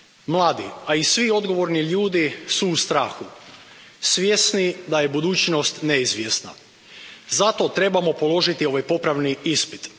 Mladi, a i svi odgovorni ljudi su u strahu, svjesni da je budućnost neizvjesna. Zato trebamo položiti ovaj popravni ispit.